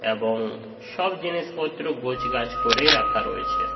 এ-ব-ও-ও সব জিনিসপত্র গোছগাছ করে রাখা রয়েছে।